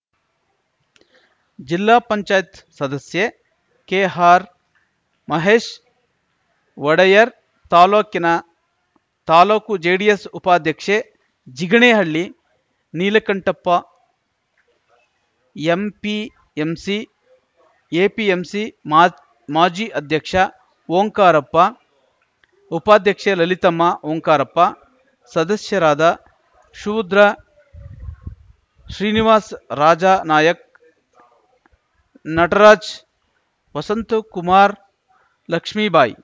ಜಿಲ್ಲಾಪಂಚಾಯತ್ ಸದಸ್ಯೆ ಕೆಹಾರ್‌ ಮಹೇಶ್‌ ಒಡೆಯರ್‌ ತಾಲೂಕಿನ ತಾಲೂಕು ಜೆಡಿಎಸ್‌ ಉಪಾಧ್ಯಕ್ಷೆ ಜಿಗಣೇಹಳ್ಳಿ ನೀಲಕಂಠಪ್ಪ ಎಂಪಿಎಂಸಿ ಎಪಿಎಂಸಿ ಮಾ ಮಾಜಿ ಅಧ್ಯಕ್ಷ ಓಂಕಾರಪ್ಪ ಉಪಾಧ್ಯಕ್ಷೆ ಲಲಿತಮ್ಮ ಓಂಕಾರಪ್ಪ ಸದಸ್ಯರಾದ ಶೂದ್ರ ಶ್ರೀನಿವಾಸ್‌ ರಾಜಾ ನಾಯಕ್ ನಟರಾಜ್‌ ವಸಂತಕುಮಾರ್‌ ಲಕ್ಷ್ಮೇಬಾಯಿ